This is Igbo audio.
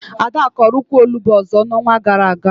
Ada kọrọ ukwu Onugbu ọzọ na onwa gara aga